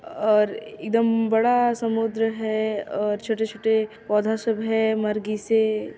और एकदम बड़ा समुन्द्र है अ और छोटे-छोटे पौधा सब है मर्गीसे--